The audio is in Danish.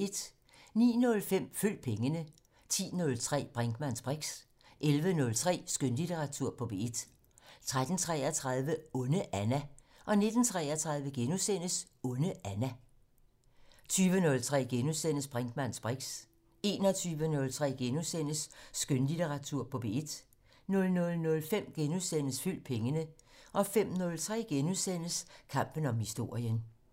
09:05: Følg pengene 10:03: Brinkmanns briks 11:03: Skønlitteratur på P1 13:33: Onde Anna 19:33: Onde Anna * 20:03: Brinkmanns briks * 21:03: Skønlitteratur på P1 * 00:05: Følg pengene * 05:03: Kampen om historien *